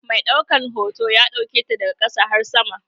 Mai ɗaukan hoton ya ɗauketa daga sama har ƙasa.